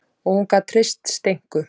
Og hún gat treyst Steinku.